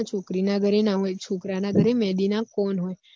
છોકરી ના હોય છોકરા ના ઘર એ મેહદી ના કોન હોય